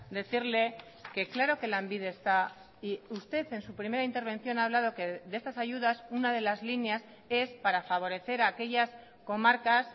decirle que claro que lanbide está y usted en su primera intervención ha hablado que de estas ayudas una de las líneas es para favorecer aquellas comarcas